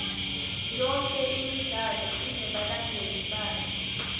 yonke imidlalo inebalandzeli bayo